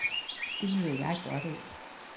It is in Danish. Det nyder jeg godt af.